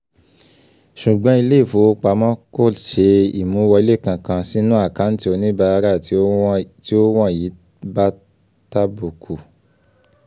ṣùgbọ́n ilé ìfowopamọ́ kò ṣe imú wọlé kankan sínú àkántì oníbàárà tí ó wọ̀nyí bá tàbùkù